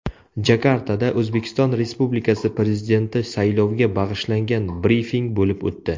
Jakartada O‘zbekiston Respublikasi Prezidenti sayloviga bag‘ishlangan brifing bo‘lib o‘tdi.